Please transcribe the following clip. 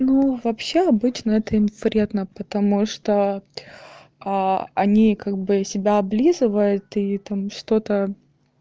ну вообще обычно это им вредно потому что они как бы себя облизывают и там что-то